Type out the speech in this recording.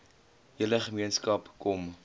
hele gemeenskap kom